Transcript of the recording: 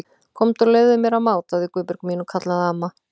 Komdu og leyfðu mér að máta á þig Guðbjörg mín kallaði amma.